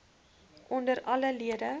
onder alle lede